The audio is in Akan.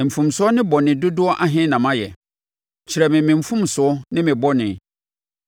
Mfomsoɔ ne bɔne dodoɔ ahe na mayɛ? Kyerɛ me me mfomsoɔ ne me bɔne.